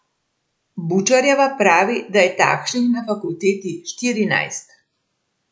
Bučarjeva pravi, da je takšnih na fakulteti štirinajst.